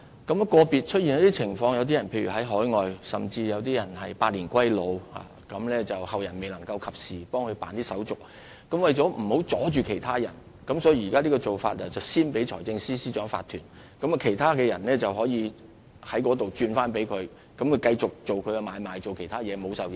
遇有個別情況，例如擁有人身在海外甚或已經百年歸老，但後人未能及時替他辦理手續，為免阻礙其他業主，現時的做法是先把契約批予財政司司長法團，然後再轉讓予其他人，讓他們繼續進行買賣或其他事宜，免受影響。